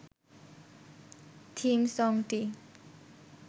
theme সংটি